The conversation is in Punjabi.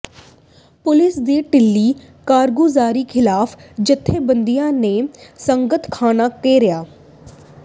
ਪੁਲਿਸ ਦੀ ਿਢੱਲੀ ਕਾਰਗੁਜ਼ਾਰੀ ਖ਼ਿਲਾਫ਼ ਜੱਥੇਬੰਦੀਆਂ ਨੇ ਸੰਗਤ ਥਾਣਾ ਘੇਰਿਆ